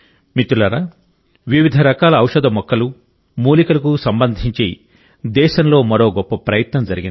మిత్రులారా వివిధ రకాల ఔషధ మొక్కలు మూలికలకు సంబంధించి దేశంలో మరో గొప్ప ప్రయత్నం జరిగింది